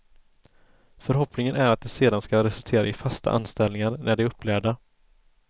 Förhoppningen är att det sedan ska resultera i fasta anställningar när de är upplärda.